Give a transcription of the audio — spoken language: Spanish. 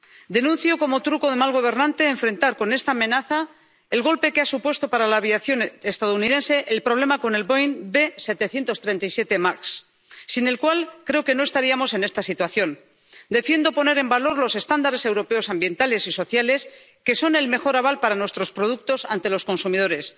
Denuncio, como truco de mal gobernante, enfrentar con esta amenaza el golpe que ha supuesto para la aviación estadounidense el problema con el Boeing B737 MAX, sin el cual creo que no estaríamos en esta situación. Defiendo poner en valor los estándares europeos ambientales y sociales, que son el mejor aval para nuestros productos ante los consumidores.